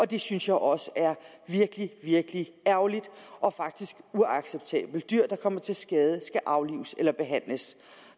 det synes jeg også er virkelig virkelig ærgerligt og faktisk uacceptabelt dyr der kommer til skade skal aflives eller behandles